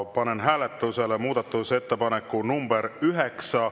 Panen hääletusele muudatusettepaneku nr 9.